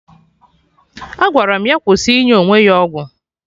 Agwara m ya kwụsị inye onwe ya ọgwụ